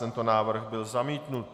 Tento návrh byl zamítnut.